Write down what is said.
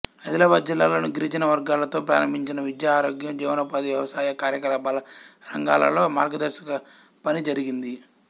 ఆదిలాబాద్ జిల్లాలోని గిరిజన వర్గాలతో ప్రారంభించి విద్య ఆరోగ్యం జీవనోపాధి వ్యవసాయ కార్యకలాపాల రంగాలలో మార్గదర్శక పని జరిగింది